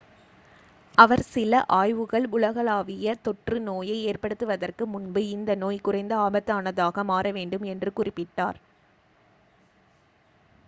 அவர் சில ஆய்வுகள் உலகளாவிய தொற்று நோயை ஏற்படுத்துவதற்கு முன்பு இந்த நோய் குறைந்த ஆபத்தானதாக மாற வேண்டும் என்று குறிப்பிட்டார்